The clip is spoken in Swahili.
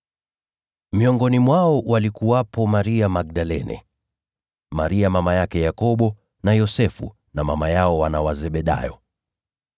Miongoni mwao walikuwepo Maria Magdalene, na Maria mama yao Yakobo na Yosefu, na mama yao wana wa Zebedayo.